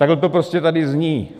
Takhle to prostě tady zní.